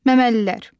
Məməlilər.